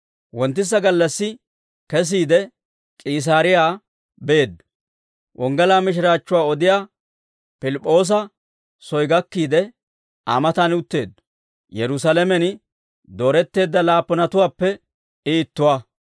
Wonttisa gallassi kesiide, K'iisaariyaa beeddo; wonggalaa mishiraachchuwaa odiyaa Pilip'p'oosa soy gakkiide, Aa matan utteeddo; Yerusaalamen dooretteedda laappunatuwaappe I ittuwaa.